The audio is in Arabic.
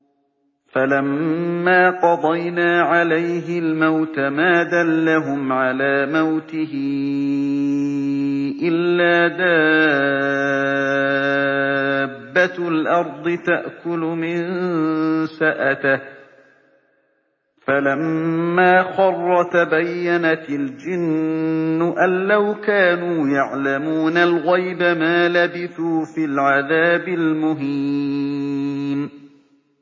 فَلَمَّا قَضَيْنَا عَلَيْهِ الْمَوْتَ مَا دَلَّهُمْ عَلَىٰ مَوْتِهِ إِلَّا دَابَّةُ الْأَرْضِ تَأْكُلُ مِنسَأَتَهُ ۖ فَلَمَّا خَرَّ تَبَيَّنَتِ الْجِنُّ أَن لَّوْ كَانُوا يَعْلَمُونَ الْغَيْبَ مَا لَبِثُوا فِي الْعَذَابِ الْمُهِينِ